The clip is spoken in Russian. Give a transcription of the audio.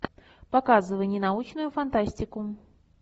показывай ненаучную фантастику